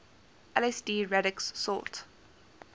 lsd radix sort